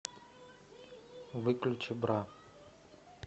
выключи бра